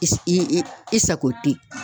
I i i sako ten